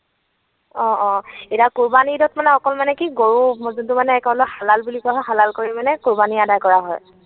অ, অ। এতিয়া কোৰৱানী ঈদত মানে অকল মানে কি গৰু যিটো মানে হালাল বুলি কোৱা হয়, হালাল কৰি মানে কোৰৱানী অদা কৰা হয়।